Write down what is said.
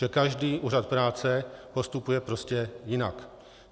Že každý úřad práce postupuje prostě jinak.